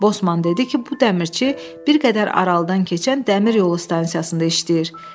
Bosman dedi ki, bu dəmirçi bir qədər aralıdan keçən dəmir yolu stansiyasında işləyir.